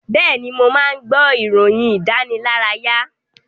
Bẹ́ẹ̀ni, mò máa ń gbọ́ ìròyìn ìdánilárayá.